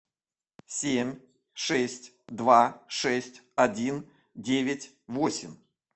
семь шесть два шесть один девять восемь